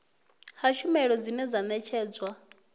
ha tshumelo dzine dza ṋetshedzwa